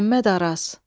Məmməd Araz.